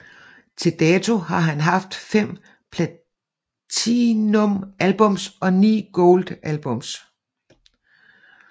Til dato har han haft fem Platinum albums og 9 Gold albums